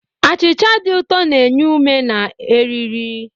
Achịcha dị ụtọ na-enye ume na eriri.